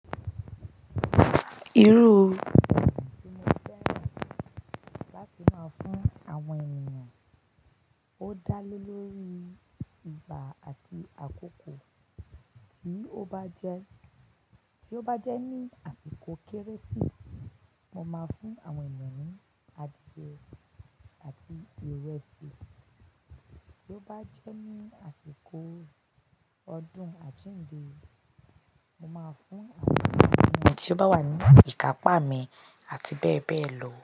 Irú ọ̀ṣọ́ tí mo fẹ́ rán láti máa fún àwọn ènìyàn ó dá lé lórí ìgbà àti àkókò. Tí ó bá jẹ́, tí ó bá jẹ́ ní àsìkò Kérésì, mo máa fún àwọn ènìyàn ni adìẹ àti ìrẹsì. Tí ó bá jẹ́ ní àsìkò ọdún àjínde, mo máa fún àwọn ènìyàn ẹni tí ó bá wà ní ìká pámi àti bẹ́ẹ̀ bẹ́ẹ̀ lọ.